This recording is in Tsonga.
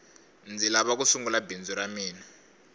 ndzi lava ku sungula bindzu ra mina